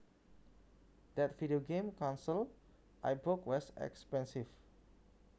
That video game console I bought was expensive